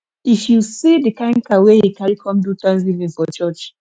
if you see the kin cow wey he carry come do thanksgiving for church